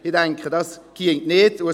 Ich denke, dies wäre nicht möglich.